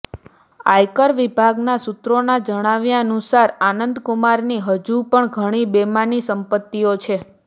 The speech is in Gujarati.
આયકર વિભાગના સુત્રોના જાણાવ્યાનુંસાર આનંદકુમારની હજુ પણ ઘણી બેનામી સંપત્તિઓ છે